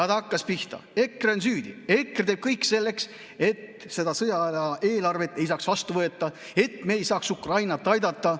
Ta hakkas pihta: EKRE on süüdi, EKRE teeb kõik selleks, et seda sõjaaja eelarvet ei saaks vastu võtta ja me ei saaks Ukrainat aidata.